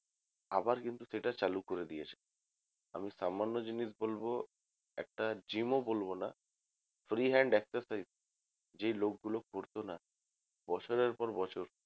আবার কিন্তু সেটা চালু করে দিয়েছে আমি সামান্য জিনিস বলব একটা gym ও বলব না free hand exercise যেই লোক গুলো করত না বছরের পর বছর